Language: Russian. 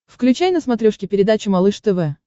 включай на смотрешке передачу малыш тв